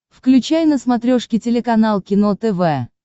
включай на смотрешке телеканал кино тв